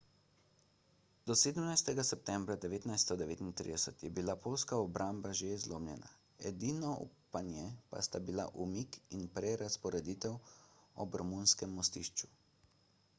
do 17 septembra 1939 je bila poljska obramba že zlomljena edino upanje pa sta bila umik in prerazporeditev ob romunskem mostišču